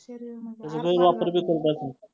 त्याचा गैरवापर बी करत असतील.